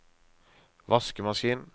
vaskemaskin